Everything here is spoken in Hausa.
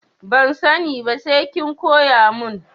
Ban sani ba sai kin koya mun.